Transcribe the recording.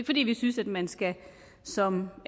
fordi vi synes at man som